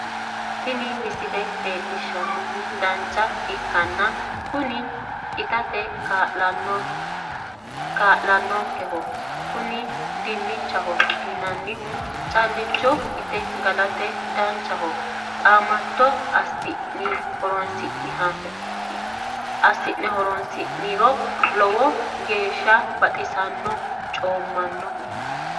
tini misile leellishshannorichi dinnicha ikkanna kunino itate kaa'lannonkeho kuni dinnichaho yineemmohu calla inte gala dandiinanniho qaamattono assinehoroonsi'niro lowo geeshsha baxisannohonna coommannoho.